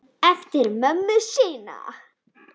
Eftir mömmu sinni.